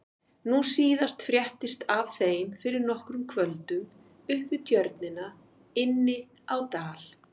Nú síðast fréttist af þeim fyrir nokkrum kvöldum upp við Tjörnina inni á Dal.